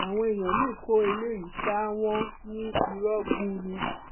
àwọn èèyàn míín kó eléyìí sáà wọn ní irọ gbuu ni